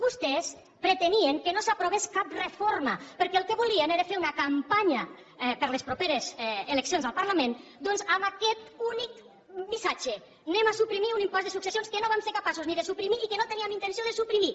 vostès pretenien que no s’aprovés cap reforma perquè el que volien era fer una campanya per a les properes eleccions al parlament doncs amb aquest únic missatge anem a suprimir un impost de successions que no vam ser capaços ni de suprimir i que no teníem intenció de suprimir